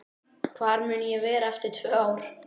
Hvar mun ég vera eftir tvö ár?